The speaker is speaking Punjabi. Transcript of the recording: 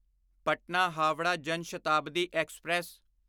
ਪਟਨਾ ਹਾਵੜਾ ਜਨ ਸ਼ਤਾਬਦੀ ਐਕਸਪ੍ਰੈਸ